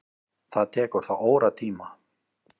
Það tekur þá óratíma.